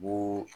Bon